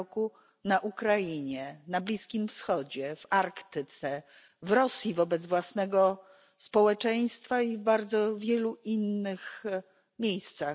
r. na Ukrainie, na Bliskim Wschodzie, w Arktyce, w Rosji wobec własnego społeczeństwa i bardzo wielu innych miejscach.